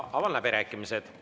Avan läbirääkimised.